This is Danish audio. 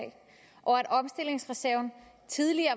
og at omstillingsreserven tidligere